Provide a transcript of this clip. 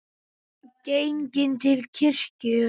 Genginn til kirkju.